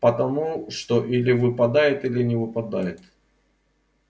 потому что или выпадет или не выпадет